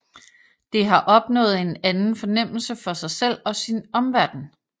Det har opnået en anden fornemmelse for sig selv og sin omverden